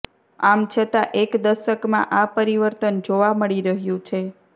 આમ છતાં એક દશકમાં આ પરિવર્તન જોવા મળી રહ્યું છે